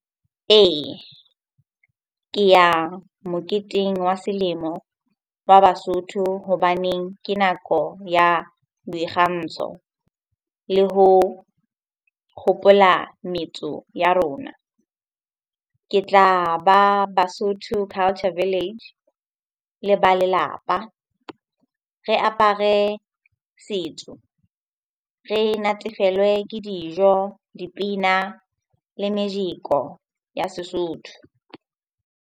Ee, ke ya moketeng wa selemo wa Basotho hobaneng ke nako ya boikgantsho le ho hopola metso ya rona. Ke tla ba Basotho Culture Village le ba lelapa, re apare setso. Re natefelwe ke dijo, dipina le mejeko ya Sesotho.